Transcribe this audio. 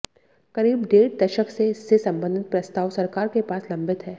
करीब डेढ़ दशक से इससे संबंधित प्रस्ताव सरकार के पास लंबित है